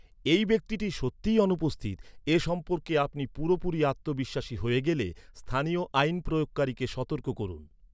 এই ব্যক্তিটি সত্যিই অনুপস্থিত, এ সম্পর্কে আপনি পুরোপুরি আত্মবিশ্বাসী হ’য়ে গেলে স্থানীয় আইন প্রয়োগকারীকে সতর্ক করুন।